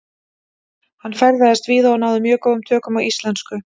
Hann ferðaðist víða og náði mjög góðum tökum á íslensku.